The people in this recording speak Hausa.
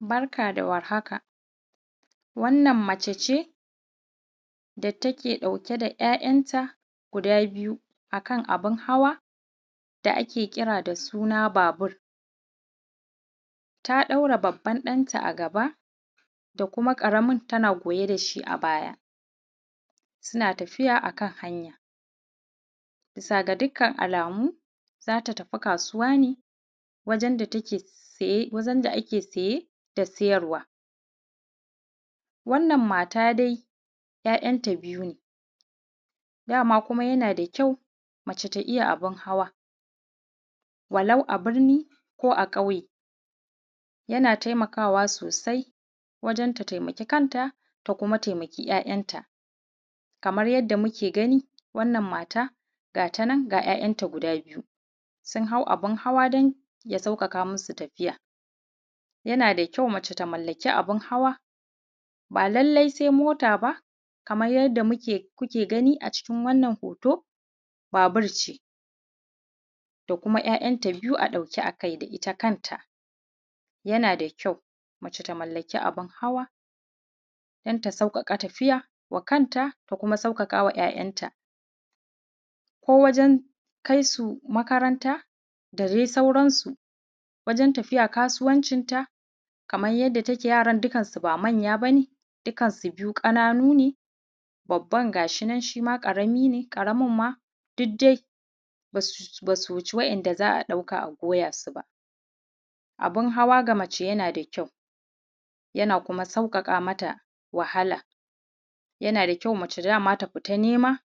Barka da warhaka wannan mace ce da take ɗauke da ‘ya'yan ta guda biyu a kan abun hawa da ake kira da suna babur. Ta ɗaura babban ɗanta a gaba da kuma ƙaramin tana goye da shi a baya suna tafiya a kan hanya. Bisa ga dukkan alamu za su tafi kasuwa ne wajen da ake saye da siyarwa. Wannan mata dai ‘ya'yan ta biyu ne, dama kuma yana da kyau mace ta iya abin hawa walau a birni walau a ƙauye. Yana taimakawa sosai wajen ta taimak kanta, ta taimaki ‘ya'yanta. Kamar yadda muke gani wannan matar gata nan ga ‘ya'yanta nan guda biyu sun hau abin hawa don ya sauƙaƙa musu tafiya. Yana da kyau mace tamallaki abin hawa, ba lallai sai mota ba, kamar yadda kuke gani a cikin wannan hoto, babur ce da kuma ‘ya'yanta biyu a ɗauke a kai da ita kanta. Yana da kyau mace ta mallaki abin hawa don ta sauƙaƙa wa kanta ta kuma sauƙaƙa wa ‘ya'yanta, ko wajen kai su makaranta da dai sauransu. Wajen tafiya kasuwancinta kamar yadda take yaran ba manya bane, dukansu biyu ƙananune, babban gashinan shima ƙarami ne, ƙaramin ma duk dai ba su wuci waɗanda za a ɗauka a goya su ba. Abin hawa ga mace yana da kyau yana kuma sauƙaƙa mata wahala, yana da kyau mace dama ta fita nema